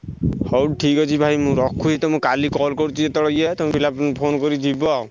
ହଉ ଠିକ୍ଅଛି ଭାଇ ମୁଁ ରଖୁଛି ତମକୁ କାଲି call କରୁଛି ଯେତବେଳେ ଥିଲା ଏ ତମେ phone କରିକି ଯିବ ଆଉ।